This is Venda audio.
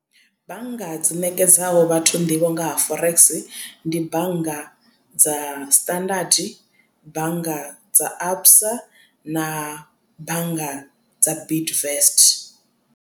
Bannga dzi ṋekedzaho vhathu nḓivho nga ha forex ndi bannga dza Standard bannga dza Absa na bannga dza Bidvest.